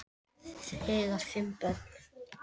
Þau eiga fimm börn